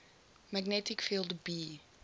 magnetic field b